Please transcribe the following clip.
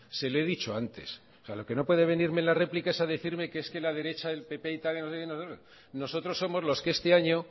se lo he dicho antes lo que no puede venirme en la replica es a decirme que es que la derecha del pp y tal nosotros somos los que este año